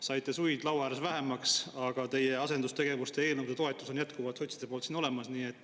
Saite suid laua ääres vähemaks, aga sotside toetus teie asendustegevustega eelnõudele on siin jätkuvalt olemas.